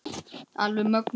Alveg mögnuð.